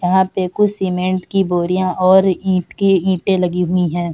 यहा पे कुछ सीमेन्ट की बोरिया ओर ईट के इटे लगी हुवी हैं।